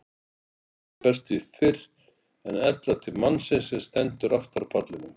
Hvellurinn berst því fyrr en ella til mannsins sem stendur aftar á pallinum.